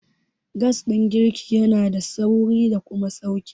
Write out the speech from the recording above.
Gas ɗin girki yanada sauri da kuma sauƙi.